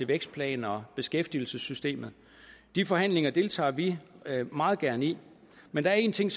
vækstplan og beskæftigelsessystemet de forhandlinger deltager vi meget gerne i men der en ting